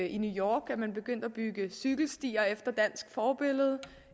i new york er man begyndt at bygge cykelstier efter dansk forbillede